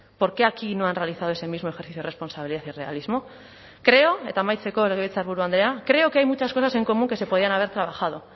por qué aquí no han realizado ese mismo ejercicio de responsabilidad y realismo creó eta amaitzeko legebiltzarburu andrea creo que hay muchas cosas en común que se podían haber trabajado